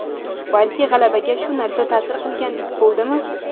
Balki g‘alabaga shu narsa ta’sir qilgandek bo‘ldimi?